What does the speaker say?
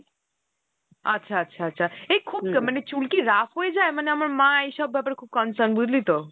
আচ্ছা আচ্ছা আচ্ছা এই খুব মানে চুল কি rough হয়ে যায়? মানে আমার মা এইসব ব্যাপারে খুব concern বুঝলি তো ?